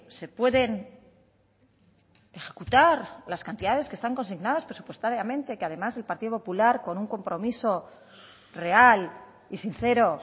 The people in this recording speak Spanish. se pueden ejecutar las cantidades que están consignadas presupuestariamente y que además el partido popular con un compromiso real y sincero